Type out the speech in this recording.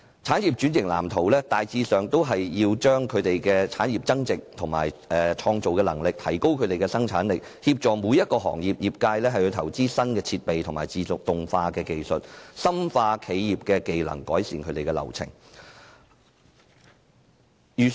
產業轉型藍圖大致上是要為產業增值、提高其創造力和生產力、協助每個行業投資新設備和自動化技術、深化企業技能，以及改善流程。